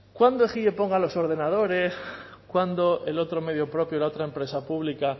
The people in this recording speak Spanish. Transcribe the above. cuándo ejie ponga los ordenadores cuándo el otro medio propio la otra empresa pública